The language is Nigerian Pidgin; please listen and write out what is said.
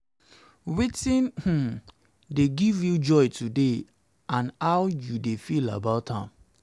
wetin um dey give you joy today and how you dey feel about am?